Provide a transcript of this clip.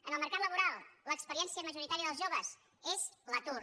en el mercat laboral l’experiència majoritària dels joves és l’atur